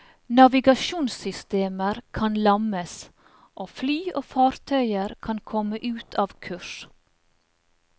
Navigasjonssystemer kan lammes, og fly og fartøyer kan komme ut av kurs.